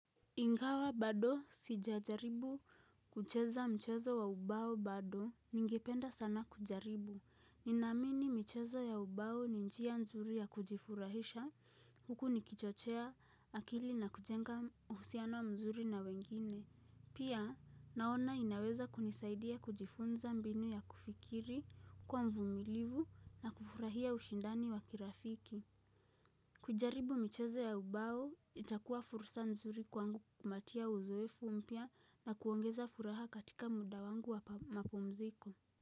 Ingawa bado sijajaribu kucheza mchezo wa ubao bado ningependa sana kujaribu. Ninaamini mchezo ya ubao ni njia nzuri ya kujifurahisha huku nikichochea akili na kujenga uhusiano mzuri na wengine. Pia naona inaweza kunisaidia kujifunza mbinu ya kufikiri, kuwa mvumilivu na kufurahia ushindani wa kirafiki. Kujaribu michoze ya ubao, itakuwa fursa nzuri kwangu kumbatia uzoefu mpya na kuongeza furaha katika muda wangu wa mapumziko.